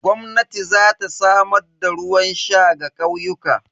Gwamnati za ta samar da ruwan sha ga ƙauyuka.